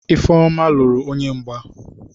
Ifeoma luru onye mgba.